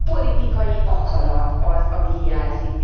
A politikai akarat az, ami hiányzik.